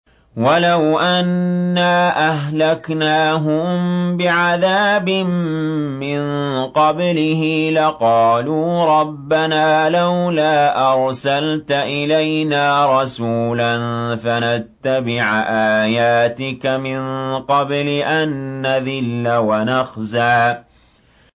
وَلَوْ أَنَّا أَهْلَكْنَاهُم بِعَذَابٍ مِّن قَبْلِهِ لَقَالُوا رَبَّنَا لَوْلَا أَرْسَلْتَ إِلَيْنَا رَسُولًا فَنَتَّبِعَ آيَاتِكَ مِن قَبْلِ أَن نَّذِلَّ وَنَخْزَىٰ